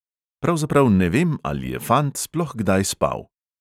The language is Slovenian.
Pravzaprav ne vem, ali je fant sploh kdaj spal.